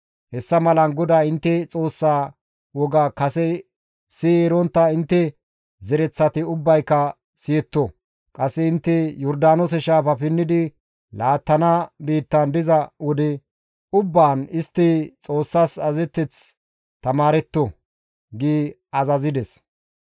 Hessa malan GODAA intte Xoossaa woga kase siyi erontta intte zereththati ubbayka siyetto; qasse intte Yordaanoose shaafa pinnidi laattana biittan diza wode ubbaan istti Xoossas azazeteth tamaaretto» gi azazides.